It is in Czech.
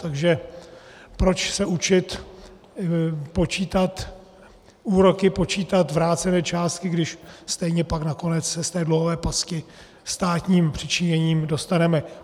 Takže proč se učit počítat úroky, počítat vrácené částky, když stejně pak nakonec se z té dlouhé pasti státním přičiněním dostaneme?